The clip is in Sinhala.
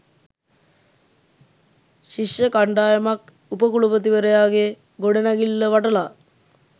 ශිෂ්‍ය කණ්ඩායමක් උප කුලපතිවරයාගේ ගොඩනැගිල්ල වටලා